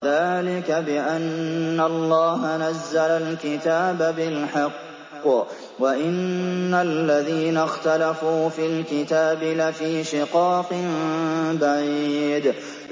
ذَٰلِكَ بِأَنَّ اللَّهَ نَزَّلَ الْكِتَابَ بِالْحَقِّ ۗ وَإِنَّ الَّذِينَ اخْتَلَفُوا فِي الْكِتَابِ لَفِي شِقَاقٍ بَعِيدٍ